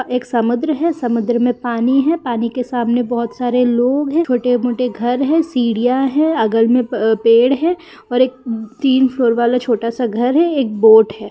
एक समुद्र है समुद्र में पानी है पानी के सामने बोहोत सारे लोग है छोटे मोटे घर है सीडियां है मे पेड़ है और एक तीन फ्लोर वाला छोटा सा घर है एक बोट है।